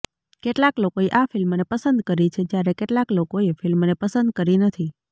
કેટલાક લોકોએ આ ફિલ્મને પસંદ કરી છે જ્યારે કેટલાક લોકોએ ફિલ્મને પસંદ કરી નથી